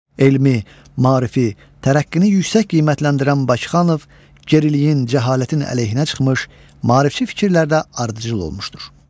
Elmi, maarifi, tərəqqini yüksək qiymətləndirən Baxxanov geriliyin, cəhalətin əleyhinə çıxmış, maarifçi fikirlərdə ardıcıl olmuşdur.